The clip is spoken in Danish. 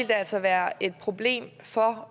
det altså være et problem for